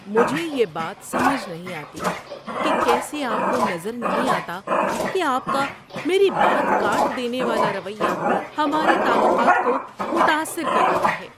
مجھے یہ بات سمجھ نہیں آتی کہ کیسے آپ کو نظر نہیں آتا کہ آپ کا میری بات کاٹ دینے والا رویہ ہمارے تعلقات کو متاثر کر رہا ہے۔